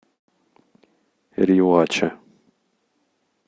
риоача